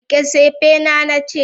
rike tsefena na ce!